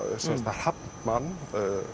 hafnbann